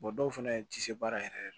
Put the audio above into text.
dɔw fana tɛ se baara yɛrɛ yɛrɛ